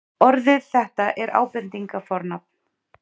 Orðið þetta er ábendingarfornafn.